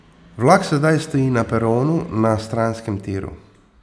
Vlak sedaj stoji na peronu na stranskem tiru.